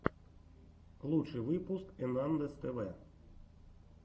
лучший выпуск энандэс тв